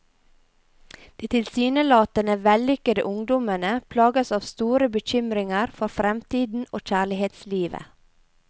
De tilsynelatende vellykkede ungdommene plages av store bekymringer for fremtiden og kjærlighetslivet.